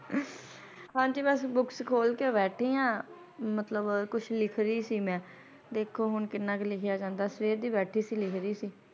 ਹਾਂਜੀ ਬੱਸ ਬੁੱਕਸ ਖੋਲਕੇ ਬੈਠੀ ਹਾਂ, ਮਤਲਬ ਕੁੱਛ ਲਿਖ ਰੀ ਸੀ, ਦੇਖੋ ਹੁਣ ਕਿੰਨਾ ਕੁ ਲਿਖਿਆ ਜਾਂਦਾ ਹੈ, ਸਵੇਰ ਦੀ ਬੈਠੀ ਸੀ ਲਿੱਖ ਰੀ ਸੀ ।